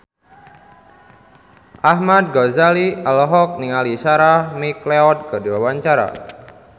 Ahmad Al-Ghazali olohok ningali Sarah McLeod keur diwawancara